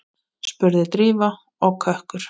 spurði Drífa og kökkur